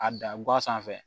A da guwa sanfɛ